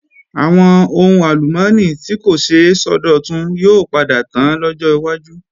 Àwọn ohun àlùmọ́ọ́nì tí kò ṣeé sọdọ̀tun yóò padà tán lọ́jọ́ wájú